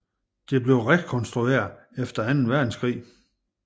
Det blev rekonstrueret efter Anden Verdenskrig